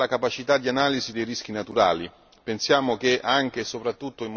In primo luogo migliorare la capacità di analisi dei rischi naturali.